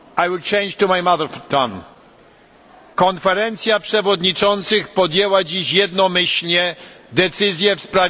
Konferencja Przewodniczących podjęła dziś jednomyślnie decyzję w sprawie nagrody Sacharowa w tym roku.